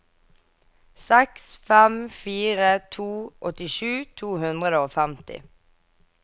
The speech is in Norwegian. seks fem fire to åttisju to hundre og femti